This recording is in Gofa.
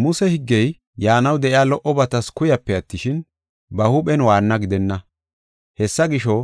Muse higgey yaanaw de7iya lo77obatas kuyape attishin, ba huuphen waanna gidenna. Hessa gisho,